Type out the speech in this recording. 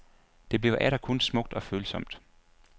Det bliver atter kun smukt og følsomt.